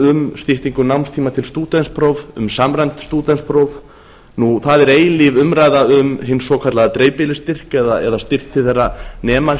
um styttingu námstíma til stúdentsprófs um samræmt stúdentspróf það er eilíf umræða um hinn svokallaða dreifbýlisstyrk eða styrk til þeirra nema